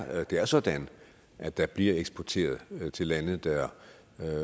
at det er sådan at der bliver eksporteret til lande der